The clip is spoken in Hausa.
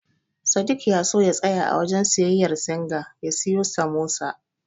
Sadik ya so ya tsaya a wajen siyayyar Singa ya siyo Samosa.